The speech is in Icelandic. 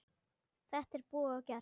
Þetta er búið og gert.